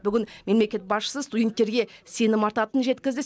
бүгін мемлекет басшысы студенттерге сенім артатынын жеткізді